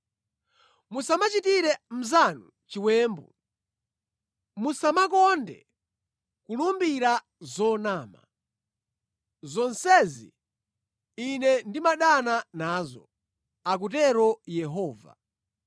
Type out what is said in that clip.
musamachitire mnzanu chiwembu, musamakonde kulumbira zonama. Zonsezi Ine ndimadana nazo,” akutero Yehova.